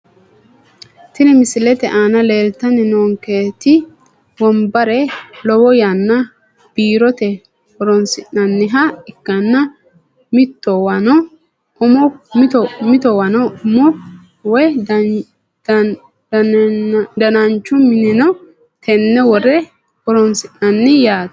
Tini misilete aana leeltani noonketi wonbare lowo yanna biirote horonsinaniha ikanna mitowano umo woyi dananchu mineno tene wore horonsinani yaate.